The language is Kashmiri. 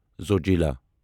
زوجلا